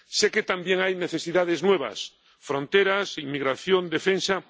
Sé que también hay necesidades nuevas —fronteras, inmigración, defensa—.